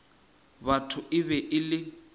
batho e be e le